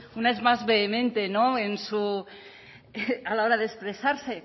una es más vehemente a la hora de expresarse